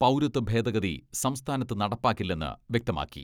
പൗരത്വ ഭേദഗതി സംസ്ഥാനത്ത് നടപ്പാക്കില്ലെന്ന് വ്യക്തമാക്കി.